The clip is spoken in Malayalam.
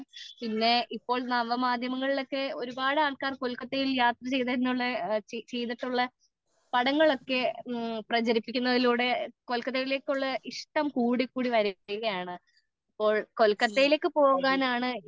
പിന്നെ ഇപ്പോൾ നവമാധ്യമങ്ങളിലൊക്കെ ഒരുപാട് ആൾക്കാർ കൊൽക്കത്തയിൽ യാത്ര ചെയ്തെന്നുള്ള ചെയ്തിട്ടുള്ള പടങ്ങളിൽ ഒക്കെ കൊല്കത്തയിലേക്കുള്ള ഇഷ്ടം കൂടി കൂടി വരുകയാണ് ഇതിപ്പോൾ കൊല്കത്തയിലേക്ക് പോകാനാണ് ഈ